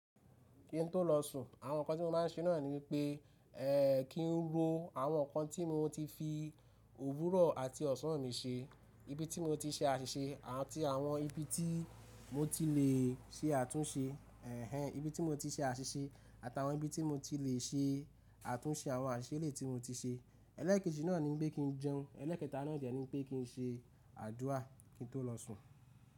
Kí n tó lọ sùn, àwọn ǹkan tí mo má ń ṣe náà ni wipé, eeh, kí n ro àwọn ǹkan tí mo ti fi òwúrọ̀ àti ọ̀sán mi ṣe, ibi tí mo ti ṣe àṣìṣe àti àwọn ibi tí mo ti lè ṣe àtúnṣe, ehe, ibi tí mo ti ṣe àṣìṣe àtàwọn ibi tí mo ti lè ṣe àtúnṣe àwọn àṣìṣe eleyi tí mo ti ṣe. Ẹlẹ́ẹ̀kejì náà ni wipé kí n jẹun, ẹlẹ́ẹ̀kẹta náà de ni wipé kí n ṣe àdúrà kí n tó lọ sùn.